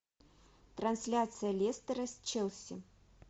трансляция лестера с челси